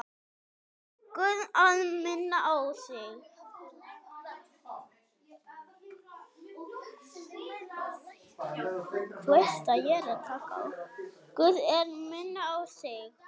Guð að minna á sig.